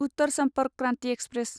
Uttar Sampark Kranti express